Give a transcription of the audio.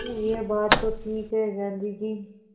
हूँ यह बात तो ठीक है गाँधी जी